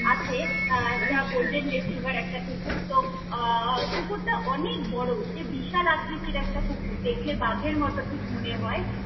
আছে আহ একটা golden retriever একটা কুকুর তো, আহ কুকুরটা অনেক বড় সে বিশাল আকৃতির একটা কুকুর দেখলে বাঘের মতন ঠিক মনে হয়।